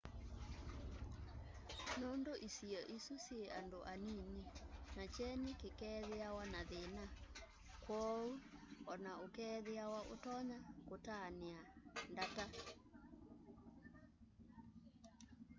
nundu isio isu syi andu anini na kyeni kiikethiawa na thina kwoou ona ukeethiawa utonya kutania ndata